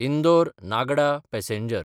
इंदोर–नागडा passenger